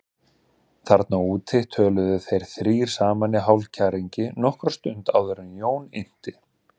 Þar úti töluðu þeir þrír saman í hálfkæringi nokkra stund áður en Jón innti